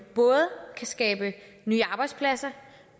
både kan skabe nye arbejdspladser